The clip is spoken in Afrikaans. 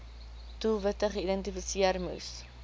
doelwitte geïdentifiseer moes